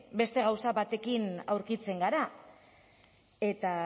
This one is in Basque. beste gauza batekin aurkitzen gara eta